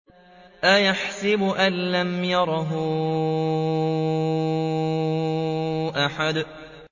أَيَحْسَبُ أَن لَّمْ يَرَهُ أَحَدٌ